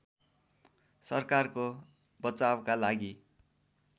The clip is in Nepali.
सरकारको बचावका लागि